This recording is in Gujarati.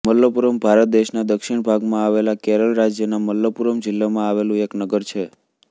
મલપ્પુરમ ભારત દેશના દક્ષિણ ભાગમાં આવેલા કેરળ રાજ્યના મલપ્પુરમ જિલ્લામાં આવેલું એક નગર છે